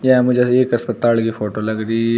यह मुझे एक अस्पताल की फोटो लग रही --